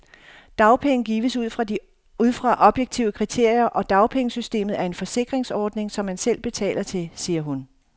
Dagpenge gives ud fra objektive kriterier, og dagpengesystemet er en forsikringsordning, som man selv betaler til, siger hun.